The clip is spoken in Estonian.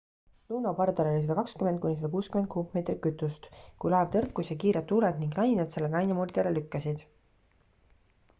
luno pardal oli 120-160 kuupmeetrit kütust kui laev tõrkus ja kiired tuuled ning lained selle lainemurdjale lükkasid